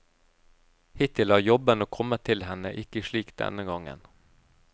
Hittil har jobbene kommet til henne, ikke slik denne gangen.